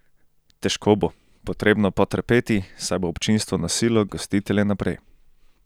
Težko bo, potrebno po trpeti, saj bo občinstvo nosilo gostitelje naprej.